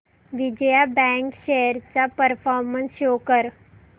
Vijaya bank shares चा performance show कर